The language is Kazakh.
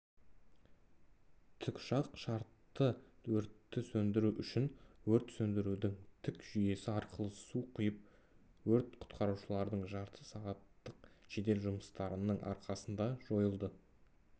тікұшақ шартты өртті сөндіру үшін өрт сөндірудің тік жүйесі арқылы су құйып өрт құтқарушылардың жарты сағаттық жедел жұмыстарының арқасында жойылды